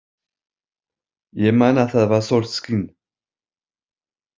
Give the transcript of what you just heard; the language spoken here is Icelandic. Ég man að það var sólskin.